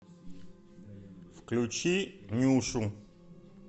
включи нюшу